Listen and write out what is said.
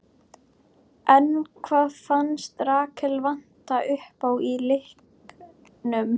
En hvað fannst Rakel vanta uppá í leiknum?